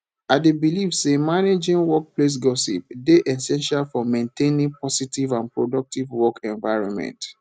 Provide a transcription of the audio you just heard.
i dey believe say managing workplace gossip dey essential for maintaining positive and productive work environment